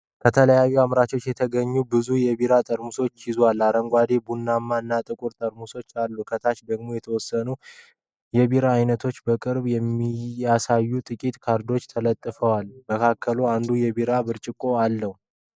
ከተለያዩ አምራቾች የተገኙ ብዙ የቢራ ጠርሙሶችን ይዟል። አረንጓዴ፣ ቡናማ እና ጥቁር ጠርሙሶች አሉ። ከታች ደግሞ የተወሰኑ የቢራ አይነቶችን በቅርበት የሚያሳዩ ጥቂት ካርዶች ተለጥፈዋል። ከመካከላቸው አንዱ የቢራ ብርጭቆ አለው።